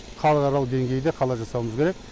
халықаралық деңгейде қала жасауымыз керек